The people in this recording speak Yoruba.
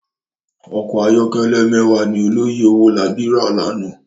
Òkò àyòkèlè mèwá ni òlòyé Owolabi rá làná